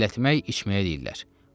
Yellətmək içməyə deyirlər.